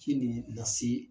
Ci de lase